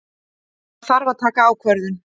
Það þarf að taka ákvörðun.